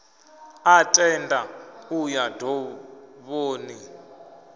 a tenda u ya dovhoni